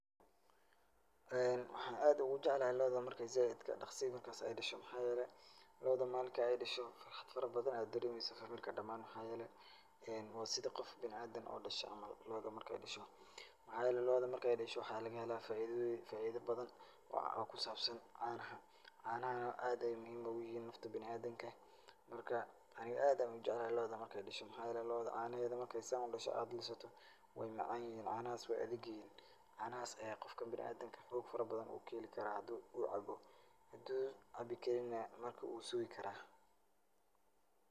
Waxaan aad ugujeclahay lo'oda marki zaaidka dhakhsi markas ay dhasho. Maxaa yeelay, lo'oda maalinka ay dhasho farhadbadan ayaad dareemaysaa familka dhamaan maxaa yeelay waa sida qof bina'aadin oo dhashay camal lo'oda marka ay dhasho. maxaa yeelay lo'oda marka ay dhasho waxaa laga helaa faidadeeda faaido badan oo ku saabsan caanaha. Caanahana aad bay muhiim ugayihiin nafta bina'aadinka. Marka, aniga aad ayaan ujeclahay lo'oda marka ay dhasho maxaa yeelay lo'oda caanaheeda marka ay saan u dhasho aad lisato waay macaanyihiin caanahaas, waay adigyihiin. Caanahaas ayaa qofka bina'aadinka xoog farabadan uu ka heli karaa haduu uu cabo. Haduu cabbi karin'na wuu sugi karaa.